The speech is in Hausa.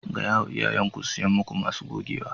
Ga ya ma iyayen ku su siya maku masu gogewa.